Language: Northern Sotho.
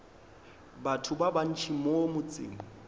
batho ba bantši mo motseng